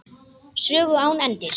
Sögu án endis.